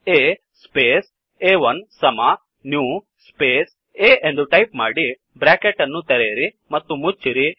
A space a1ಸಮ new space A ಎಂದು type ಮಾಡಿ ಬ್ರ್ಯಾಕೆಟ್ ಅನ್ನು ತೆರೆಯಿರಿ ಮತ್ತು ಮುಚ್ಚಿರಿ